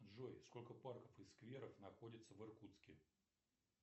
джой сколько парков и скверов находится в иркутске